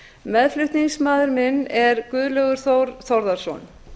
meðflutningsmaður minn er guðlaugur þór þórðarson